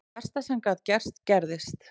Það versta sem gat gerst gerðist.